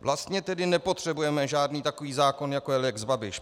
Vlastně tedy nepotřebujeme žádný takový zákon, jako je lex Babiš.